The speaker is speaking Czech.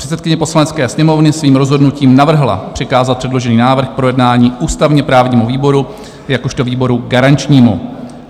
Předsedkyně Poslanecké sněmovny svým rozhodnutí navrhla přikázat předložený návrh k projednání ústavně-právnímu výboru jakožto výboru garančnímu.